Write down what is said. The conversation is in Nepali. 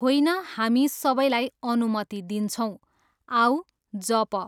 होइन हामी सबलाई अनुमति दिन्छौँ, आऊ, जप।